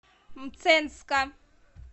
мценска